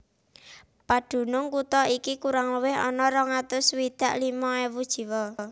Padunung kutha iki kurang luwih ana rong atus swidak limo ewu jiwa